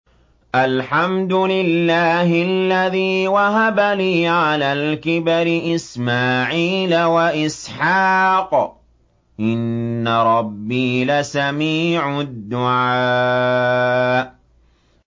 الْحَمْدُ لِلَّهِ الَّذِي وَهَبَ لِي عَلَى الْكِبَرِ إِسْمَاعِيلَ وَإِسْحَاقَ ۚ إِنَّ رَبِّي لَسَمِيعُ الدُّعَاءِ